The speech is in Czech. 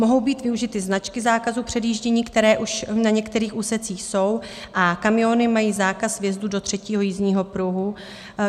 Mohou být využity značky zákazu předjíždění, které už na některých úsecích jsou, a kamiony mají zákaz vjezdu do třetího jízdního pruhu.